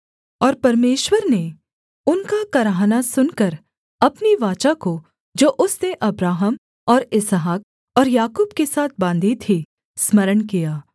और परमेश्वर ने उनका कराहना सुनकर अपनी वाचा को जो उसने अब्राहम और इसहाक और याकूब के साथ बाँधी थी स्मरण किया